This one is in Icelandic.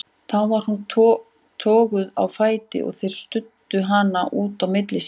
Þá var hún toguð á fætur og þeir studdu hana út á milli sín.